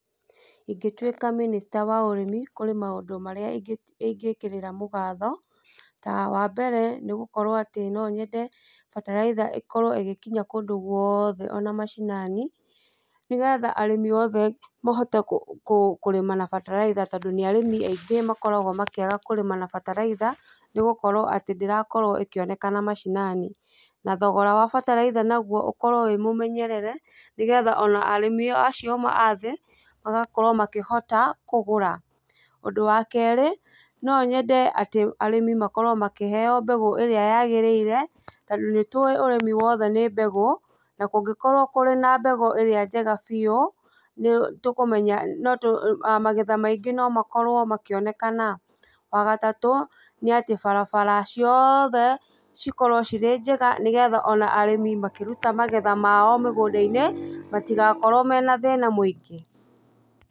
Ingĩtuĩka mĩnĩsta wa ũrimi, kũrĩ maũndũ marĩa ingĩ ingĩkĩrĩra mũgatho, ta wambere nĩgũkorwo atĩ noyende bataraitha ĩkorwo ĩgĩkinya kũndũ gũothe ona macinani, nĩgetha arĩmi othe mahote kũrĩma na bataraitha tondũ nĩarĩmi aingĩ makoragwo makĩaga kũrĩma na bataraitha, nĩgũkorwo atĩ ndĩrakorwo ĩkĩonekana macinani, na thogora wa bataraitha naguo ũkorwo wĩmũmenyerere nĩgetha ona arĩmi acio amwe athĩ magakorwo makĩhota kũgũra, ũndũ wa kerĩ, nonyende atĩ arĩmi makorwo makĩheyo mbegũ ĩria yagĩrĩire tondũ nĩtũĩ ũrĩmi wothe nĩ mbegũ, na kũngĩkorwo kũri na mbegũ ĩrĩa njega biũ nĩtũkũmenya notũ magetha maingĩ nomakorwo makĩonekana, wagatatũ, nĩatĩ barabara cioothe cikorwo cirĩ njega nĩgetha ona arĩmi makĩrũta magetha mao mĩgũnda-inĩ matigakorwo mena thĩna mũingĩ.